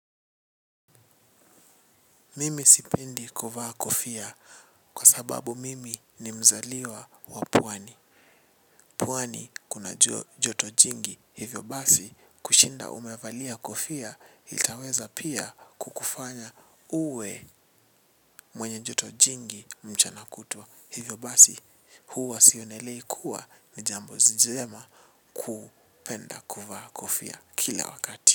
Mimi sipendi kuvaa kofia kwa sababu mimi ni mzaliwa wa pwani. Pwani kuna joto jingi hivyo basi kushinda umevalia kofia itaweza pia kukufanya uwe mwenye joto jingi mchana kutwa. Hivyo basi huwa sionelei kuwa ni jambo njema kupenda kuvaa kofia kila wakati.